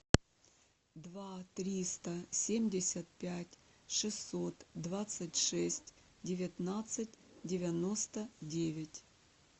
два триста семьдесят пять шестьсот двадцать шесть девятнадцать девяносто девять